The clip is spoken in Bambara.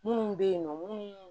Minnu bɛ yen nɔ minnu